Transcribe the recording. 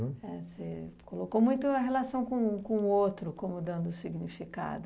É, você colocou muito a relação com com o outro como dando significado.